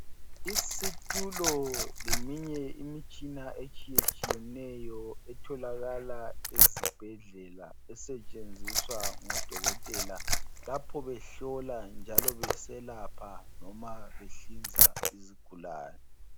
Isitulo leminye imitshina etshiyetshiyeneyo etholakala ezibhedlela esetshenziswa ngoDokotela lapho behlola njalo beselapha noma behlinza izigulane.